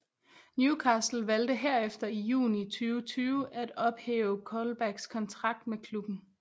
Newcastle valgte herefter i juni 2020 at ophæve Colbacks kontrakt med klubben